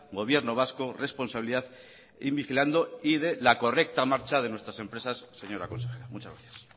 gobierno vasco responsabilidad in vigilando y de la correcta marcha de nuestras empresas señora consejera muchas gracias